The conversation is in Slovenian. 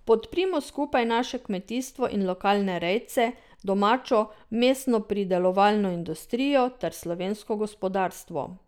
Podprimo skupaj naše kmetijstvo in lokalne rejce, domačo mesnopridelovalno industrijo ter slovensko gospodarstvo.